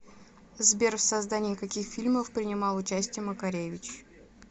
сбер в создании каких фильмов принимал участие макаревич